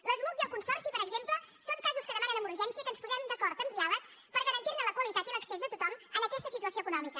l’esmuc i el consorci per exemple són casos que demanen amb urgència que ens posem d’acord amb diàleg per garantir ne la qualitat i l’accés de tothom en aquesta situació econòmica